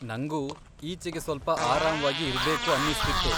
ನಂಗೂ ಈಚೆಗೆ ಸ್ವಲ್ಪ ಆರಾಮ್ವಾಗಿ ಇರ್ಬೇಕು ಅನ್ನಿಸ್ತಿತ್ತು.